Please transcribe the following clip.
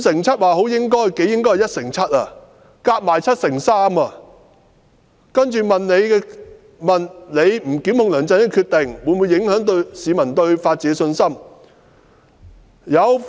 再下來的問題是："律政司司長不檢控梁振英的決定，會否影響市民對法治的信心？